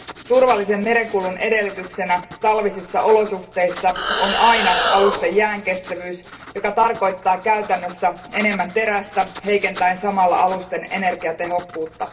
Turvallisen merenkulun edellytyksenä talvisissa olosuhteissa on aina alusten jäänkestävyys, joka tarkoittaa käytännössä enemmän terästä, heikentäen samalla alusten energiatehokkuutta.